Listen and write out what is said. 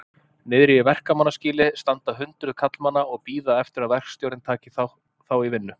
Niðri í verkamannaskýli standa hundruð karlmanna og bíða eftir að verkstjórinn taki þá í vinnu.